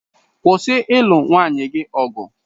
.Kwụsị ịlụ nwanne gị ọgụ.